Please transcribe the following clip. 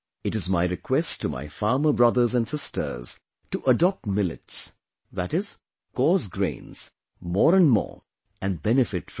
It is my request to my farmer brothers and sisters to adopt Millets, that is, coarse grains, more and more and benefit from it